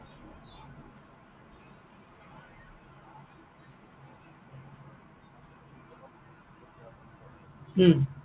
উম